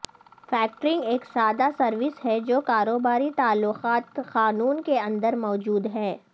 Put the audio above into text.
factoring ایک سادہ service ہے جو کاروباری تعلقات قانون کے اندر موجود ہے